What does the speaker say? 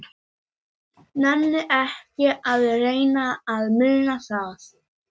Nenni ekki að reyna að muna það.